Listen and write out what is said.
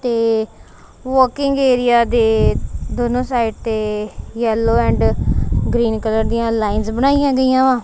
ਤੇ walking area ਦੇ ਦੋਨੋਂ ਸਾਈਡ ਤੇ ਯੈੱਲੋ ਐਂਡ ਗ੍ਰੀਨ ਕਲਰ ਦੀਆਂ ਲਾਈਨਸ ਬਣਾਈਆਂ ਗਈਆਂ ਵਾਂ।